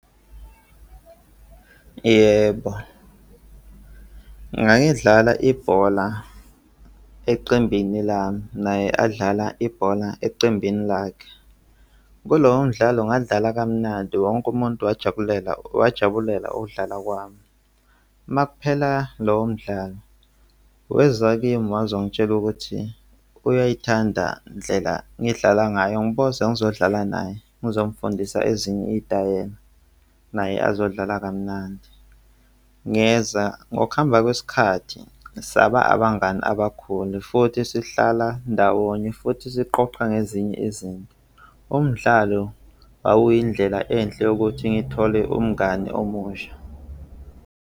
Yebo, ngayidlala ibhola eqembini lami, naye adlala ibhola eqembini lakhe. Kulowo mdlalo ngadlala kamnandi wonke umuntu wajabulela, wajabulela ukudlala kwami. Makuphela lowo mdlalo weza kimi wazongitshela ukuthi uyayithanda ndlela ngiyidlala ngayo, ngiboza ngizodlala naye ngizomufundisa ezinye iy'tayela, naye azodlala kamnandi. Ngeza ngokuhamba kwesikhathi saba abangani abakhulu futhi sihlala ndawonye futhi siqoqa ngezinye izinto. Umdlalo wawuyindlela enhle yokuthi ngithole umngani omusha.